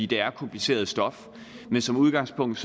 det er kompliceret stof men som udgangspunkt